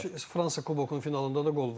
Adam Fransa Kubokunun finalında da qol vurur.